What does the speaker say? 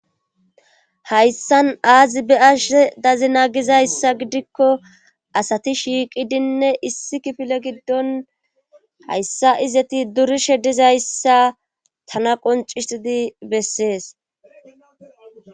hayssan aazi be7ashe dazina gizayssa gidikko asati shiiqidinne issi kifile giddon hayssa izeti durishe dizayssa tana qonccissidi bessees.